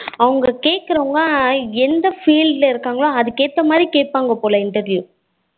அவங்க கேக்குறவாங்க எந்த field இருக்காங்களோ அதுக்கு ஏத்த மாதிரி கேப்பாங்க போல interview